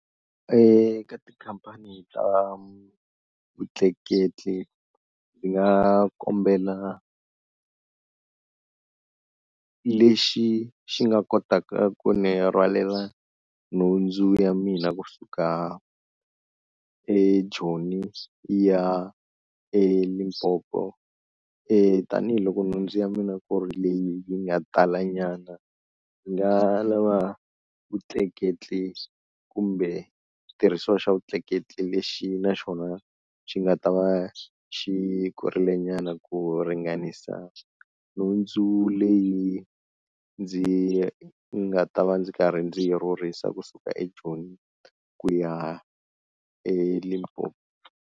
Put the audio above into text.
Ka tikhampani ta vutleketli ndzi nga kombela lexi xi nga kotaka ku ni rhwalela nhundzu ya mina kusuka eJoni yi ya eLimpopo e tanihiloko nhundzu ya mina ku ri leyi yi nga tala nyana, ni nga lava vutleketli kumbe xitirhisiwa xa vutleketli lexi na xona xi nga ta va xikurile nyana ku ringanisa nhundzu leyi ndzi nga ta va ndzi karhi ndzi rhurhisa kusuka eJoni ku ya eLimpopo.